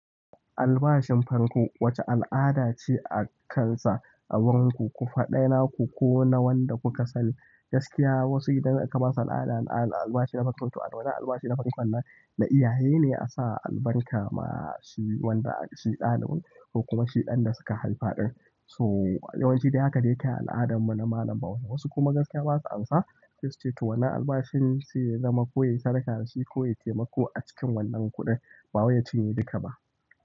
Albashin farko wace al'ada ce a kan sa a wurinku, ku faɗa naku ko na wanda kuka sani. Gaskiya wasu idan aka ba su albashi na farko, to wannan albashi na farkon nan na iyaye ne a sa albarka ma shi wanda shi ɗanawun ko kuma shi ɗan da suka haifa ɗin. So yawanci dai haka dai ake al'adarmu na malam bau. Wasu kuma gaskiya ba su amsa, sai suce to wannan albashin sai ya zama ko ya yi sadaka da shi ko ya yi taimako a cikin wannan kuɗi, ba wajen cinye duka ba.